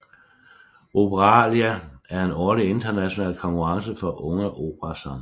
Operalia er en årlig international konkurrence for unge operasangere